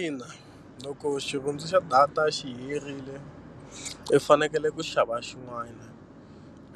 Ina loko xirhundzu xa data xi herile i fanekele ku xava xin'wana